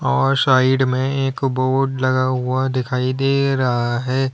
और साइड में एक बोर्ड लगा हुआ दिखाई दे रहा है।